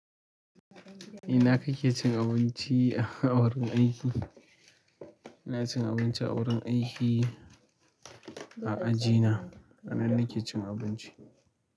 Ina ka ke cin abinci a wurin aiki. ina cin abinci a wurin aiki a ajina. A nan nake cin abinci.